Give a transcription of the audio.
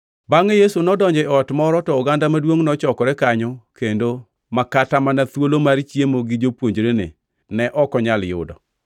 Bangʼe Yesu nodonjo e ot moro to oganda maduongʼ nochokore kanyo kendo ma kata mana thuolo mar chiemo gi jopuonjrene ne ok onyal yudo.